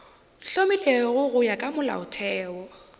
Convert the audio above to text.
hlomilwego go ya ka molaotheo